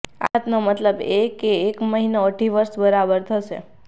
આ વાતનો મતલબ એ કે એક મહિનો અઢી વર્ષ બરાબર થશે